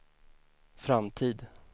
framtid